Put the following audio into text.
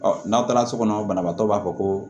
Ɔ n'aw taara so kɔnɔ banabaatɔ b'a fɔ ko